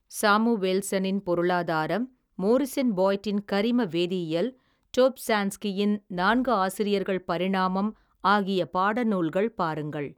சாமுவேல்சனின் பொருளாதாரம் மோரிஸன் பாய்ட்டின் கரிம வேதியியல் தொப்ஸாழான்ஸ்கியின் நான்கு ஆசிரியர்கள் பரிணாமம் ஆகிய பாடநூல்கள் பாருங்கள்.